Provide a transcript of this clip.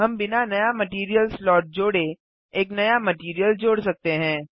हम बिना नया मटैरियल स्लॉट जोड़े एक नया मटैरियल जोड़ सकते हैं